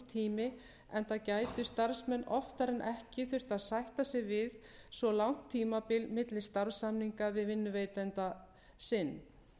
tími enda gætu starfsmenn oftar en ekki þurft að sætta sig við svo langt tímabil milli starfssamninga við vinnuveitanda sinn